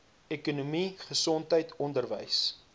ekonomie gesondheid onderwys